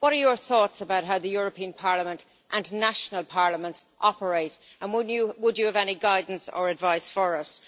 What are your thoughts about how the European Parliament and national parliaments operate, and would you have any guidance or advice for us?